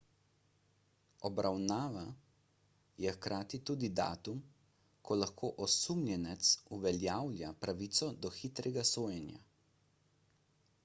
obravnava je hkrati tudi datum ko lahko osumljenec uveljavlja pravico do hitrega sojenja